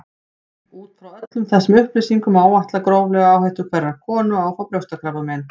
Út frá öllum þessum upplýsingum má áætla gróflega áhættu hverrar konu á að fá brjóstakrabbamein.